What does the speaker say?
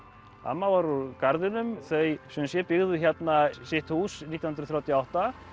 amma var úr Garðinum þau sem sé byggðu hérna sitt hús nítján hundruð þrjátíu og átta